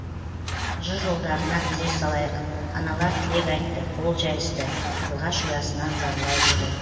жыр жолдарына зер салайық аналар тілек айтты қол жайысты қарлығаш ұясынан зарлай ұшты